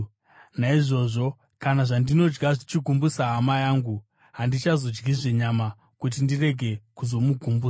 Naizvozvo, kana zvandinodya zvichigumbusa hama yangu handichazodyizve nyama, kuti ndirege kuzomugumbusa.